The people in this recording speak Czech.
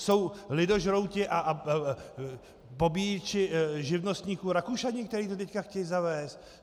Jsou lidožrouti a pobíječi živnostníků Rakušané, kteří to teď chtějí zavést?